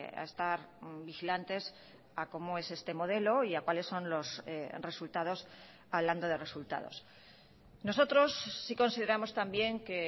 a estar vigilantes a cómo es este modelo y a cuáles son los resultados hablando de resultados nosotros sí consideramos también que